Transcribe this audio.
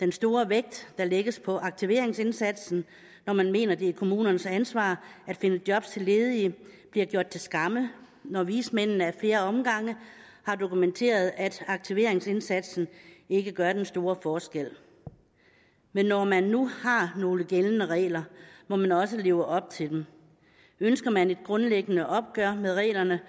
den store vægt der lægges på aktiveringsindsatsen når man mener at det er kommunernes ansvar at finde job til ledige bliver gjort til skamme når vismændene ad flere omgange har dokumenteret at aktiveringsindsatsen ikke gør den store forskel men når man nu har nogle gældende regler må man også leve op til dem ønsker man et grundlæggende opgør med reglerne